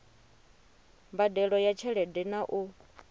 mbadelo ya tshelede na u